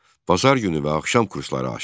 Bazar günü və axşam kursları açdı.